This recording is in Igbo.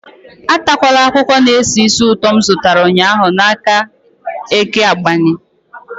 Anatakwala akwụkwọ na-esi ísì ụtọ m zụtara ụnyahụ n'aka Eke Agbani.